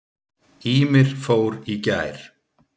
Ýmir fór í gær.